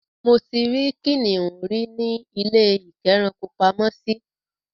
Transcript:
Mo ti rí kìnnìún rí ní ilé-ìkẹ́rankopamọ́sí.